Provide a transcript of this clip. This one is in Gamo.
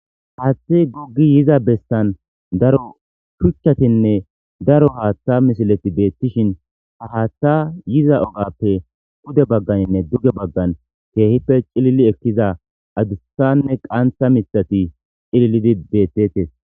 haaththe guggi yiza bessan daro shuchchatinne daro haaththa misileti beettishin ha haaththa yiza ogappe gude bagganinne duge baggan keehippe cilili ekkiza adussanne qantha mitati cilillidi beettetes